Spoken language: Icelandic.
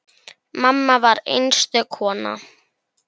Mamma var einstök kona.